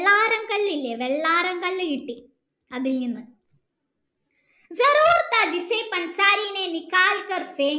വെള്ളാരം കല്ലില്ലേ വെള്ളാരം കല്ല് കിട്ടി അതിൽ നിന്ന്